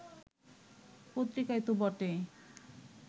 পত্রিকায় তো বটেই